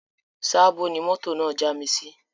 Sabo ni mọ́tò náà já mi sí